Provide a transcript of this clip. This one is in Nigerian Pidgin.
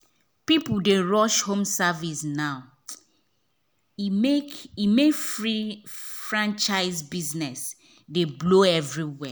people dey rush home service now e make e make franchise business dey blow everywhere.